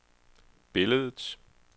billedet